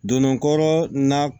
Donnɔgɔ kɔrɔ na